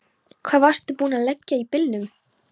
Hvar varstu vanur að leggja bílnum?